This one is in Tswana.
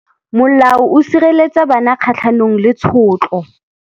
Molao o sireletsa bana kgatlhanong le tshotlo.